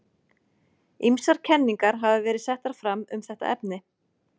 Ýmsar kenningar hafa verið settar fram um þetta efni.